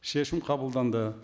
шешім қабылданды